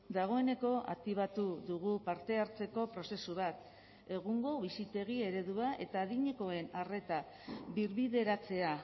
dagoeneko aktibatu dugu parte hartzeko prozesu bat egungo bizitegi eredua eta adinekoen arreta birbideratzea